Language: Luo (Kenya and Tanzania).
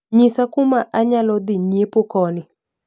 Nyisa kuma anyalo dhii nyiepo koni